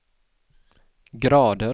grader